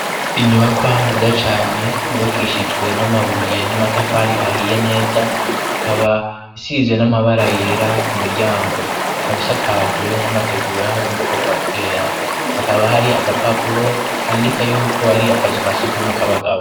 Inyubakwa nziza cane, yubakishijwe n'amabuye n'amatafari ahiye neza, bikaba bisize n'amabara yera ku miryango. Bikaba bisakajwe n'amategura yo mu bwoko bwa kera, hakaba hari agapapuro kandika yuko ar'akazu kasugumwe k'abagabo.